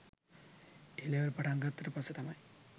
A level පටන් ගත්තට පස්සේ තමයි